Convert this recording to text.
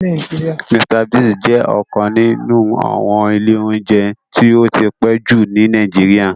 Mr Biggs jẹ́ ọ́kan ninu àwọn ìlé ounjẹ ti ó ti pe ju ni Nàìjíríà.